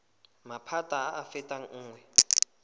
maphata a a fetang nngwe